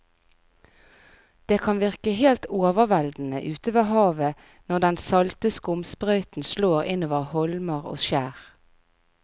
Det kan virke helt overveldende ute ved havet når den salte skumsprøyten slår innover holmer og skjær.